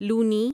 لونی